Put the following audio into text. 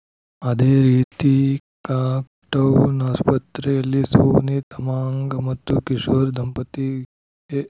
ಅದೇ ರೀತಿ ಕಾಕ್ಟೌನ್ ಆಸ್ಪತ್ರೆಯಲ್ಲಿ ಸೋನಿ ತಮಾಂಗ್‌ ಮತ್ತು ಕಿಶೋರ್‌ ದಂಪತಿಗೆ